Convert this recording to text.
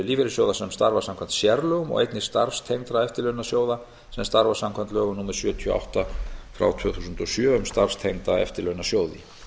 lífeyrissjóða sem starfa samkvæmt sérlögum og einnig starfstengdra eftirlaunasjóða sem starfa samkvæmt lögum númer sjötíu og átta tvö þúsund og sjö um starfstengda eftirlaunasjóði